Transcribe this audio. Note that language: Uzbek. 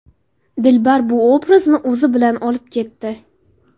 Dilbar bu obrazni o‘zi bilan olib ketdi.